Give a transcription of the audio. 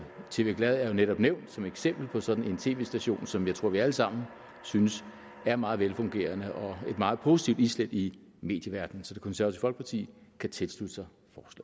tv glad er jo netop nævnt som eksempel på sådan en tv station som jeg tror vi alle sammen synes er meget velfungerende og et meget positivt islæt i medieverdenen så det konservative folkeparti kan tilslutte sig